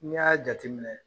Ne' y'a jate minɛ